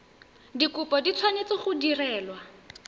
dikopo di tshwanetse go direlwa